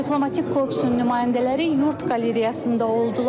Diplomatik korpusun nümayəndələri yurd qalereyasında oldular.